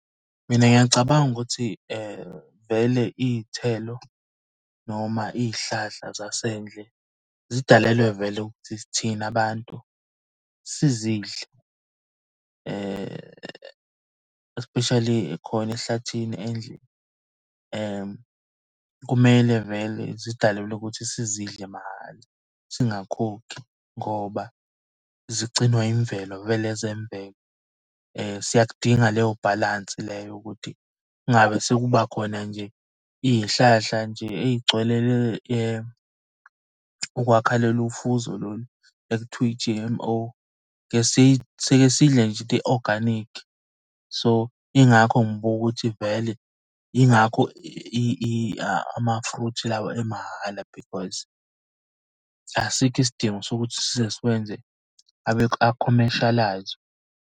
Mina ngiyacabanga ukuthi vele iy'thelo noma iy'hlahla zasendle zidalelwe vele ukuthi thina abantu sizidle especially khona ehlathini . Kumele vele zidalelwe ukuthi sizidle mahhala singakhokhi ngoba zigcinwa yimvelo, vele ezemvelo. Siyakudinga leyo bhalansi leyo ukuthi kungabe sekuba khona nje iy'hlahla nje ey'gcwele ukwakha lolu fuzo lolu ekuthiwa i-G_M_O. Sike sidle nje i-organic. So, yingakho ngibuka ukuthi vele yingakho ama-fruit lawa emahhala, because asikho isidingo sokuthi size sikwenze a-commercial-ayizwe.